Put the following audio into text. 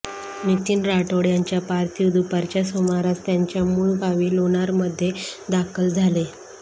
नितीन राठोड यांच्या पार्थिव दुपारच्या सुमारास त्यांच्या मूळ गावी लोणारमध्ये दाखल झाले